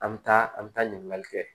An bɛ taa an bɛ taa ɲininkali kɛ